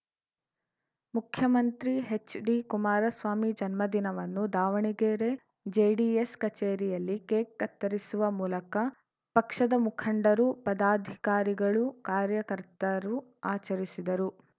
ಮುಖ್ಯಮಂತ್ರಿ ಹೆಚ್‌ಡಿಕುಮಾರಸ್ವಾಮಿ ಜನ್ಮದಿನವನ್ನು ದಾವಣಗೆರೆ ಜೆಡಿಎಸ್‌ ಕಚೇರಿಯಲ್ಲಿ ಕೇಕ್‌ ಕತ್ತರಿಸುವ ಮೂಲಕ ಪಕ್ಷದ ಮುಖಂಡರು ಪದಾಧಿಕಾರಿಗಳು ಕಾರ್ಯಕರ್ತರು ಆಚರಿಸಿದರು